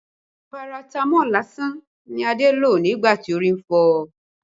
Paratamọ́ọ̀ lásán ni Adé lò nígbà tí orí ń fọ́ ọ